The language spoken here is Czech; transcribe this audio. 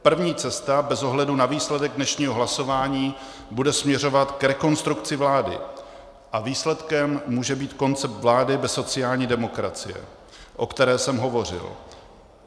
První cesta bez ohledu na výsledek dnešního hlasování bude směřovat k rekonstrukci vlády a výsledkem může být koncept vlády bez sociální demokracie, o které jsem hovořil.